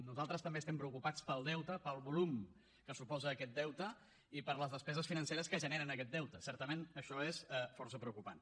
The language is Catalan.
nosaltres també estem preocupats pel deute pel volum que suposa aquest deute i per les despeses financeres que generen aquest deute certament això és força preocupant